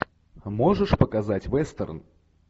а можешь показать вестерн